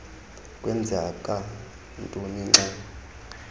kwenzeka ntoni xa